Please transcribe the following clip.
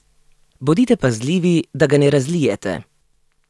Bodite pazljivi, da ga ne razlijete.